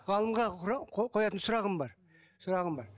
ғалымға қоятын сұрағым бар сұрағым бар